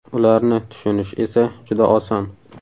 Ularni tushunish esa juda oson.